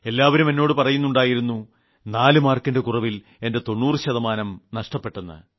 എല്ലാവരും എന്നോട് പറയുന്നുണ്ടായിരുന്നു 4 മാർക്കിന്റെ കുറവിൽ എന്റെ 90 ശതമാനം നഷ്ടപ്പെട്ടെന്ന്